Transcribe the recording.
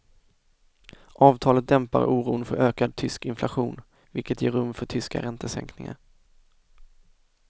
Avtalet dämpar oron för ökad tysk inflation, vilket ger rum för tyska räntesänkningar.